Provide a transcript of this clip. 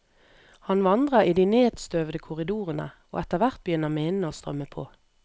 Han vandrer i de nedstøvede korridorene, og etterhvert begynner minnene å strømme på.